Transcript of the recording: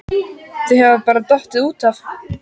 Þau hafa bara dottið út af